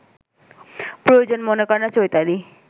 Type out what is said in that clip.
প্রয়োজন মনে করে না চৈতালি